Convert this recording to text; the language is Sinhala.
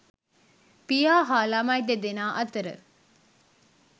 පියා හා ළමයි දෙදෙනා අතර